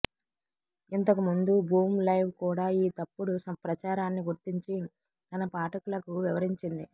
ఇంతకుముందు Boom Live కూడా ఈ తప్పుడు ప్రచారాన్ని గుర్తించి తన పాఠకులకు వివరించింది